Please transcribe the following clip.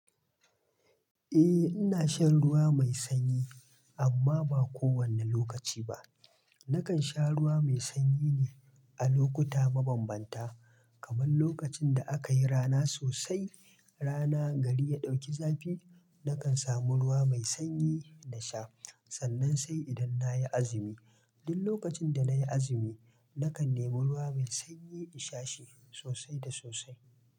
Eh, ina shan ruwa mai sanyi amma ba kowane lokaci ba. Nakan sha ruwa mai sanyi ne a lokuta mabambanta, kamar lokacin da aka yi rana sosai, rana gari ya ɗauki zafi, nakan samu ruwa mai sanyi dna sha. Sannan sai idan na yi azumi. Duk lokacin da na yi azumi, nakan nemo ruwa mai sanyi in sha shi sosai da sosai.